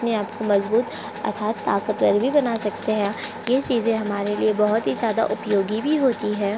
अपने आप को मजबूत अर्थात ताकतवर भी बना सकते हैं ये चीजे हमारे लिए बोहत ही ज्यादा उपयोगी भी होती है।